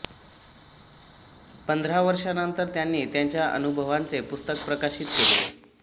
पंधरा वर्षांनंतर त्यांनी त्यांच्या अनुभवांचे पुस्तक प्रकाशित केले